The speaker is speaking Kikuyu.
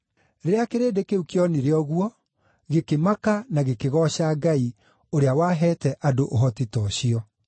Rĩrĩa kĩrĩndĩ kĩu kĩonire ũguo, gĩkĩmaka na gĩkĩgooca Ngai, ũrĩa waheete andũ ũhoti ta ũcio.